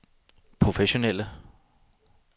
professionelle